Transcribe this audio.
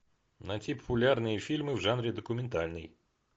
найти популярные фильмы в жанре документальный